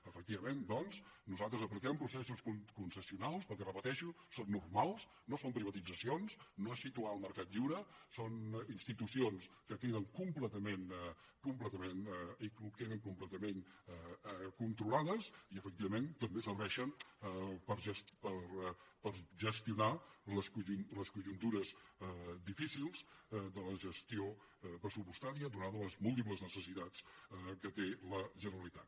efectivament doncs nosaltres apliquem processos concessionals perquè ho repeteixo són normals no són privatitzacions no és situar el mercat lliure són institucions que queden completament controlades i efectivament també serveixen per gestionar les conjuntures difícils de la gestió pressupostària donades les múltiples necessitats que té la generalitat